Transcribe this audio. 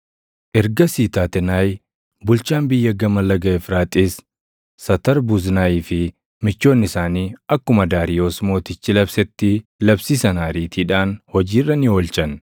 Ergasii Taatenaayi bulchaan biyya Gama Laga Efraaxiis, Satarbuznaayii fi michoonni isaanii akkuma Daariyoos Mootichi labsetti labsii sana ariitiidhaan hojii irra ni oolchan.